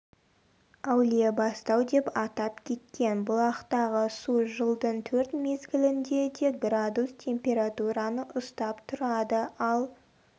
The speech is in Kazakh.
әулиебастау деп атап кеткен бұлақтағы су жылдың төрт мезгілінде де градус температураны ұстап тұрады ал